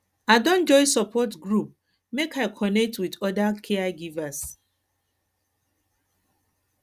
i don join support group make i connect wit oda caregivers